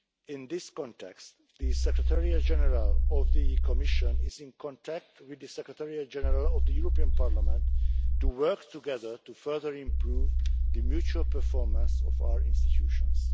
In this context, the Secretariat General of the Commission is in contact with the Secretariat General of the European Parliament to work together to further improve the mutual performance of our institutions.